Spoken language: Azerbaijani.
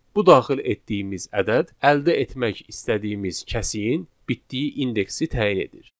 Bu daxil etdiyimiz ədəd əldə etmək istədiyimiz kəsiyin bitdiyi indeksi təyin edir.